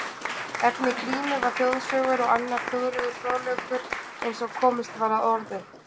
Efni Grímu var þjóðsögur og annar þjóðlegur fróðleikur eins og komist var að orði.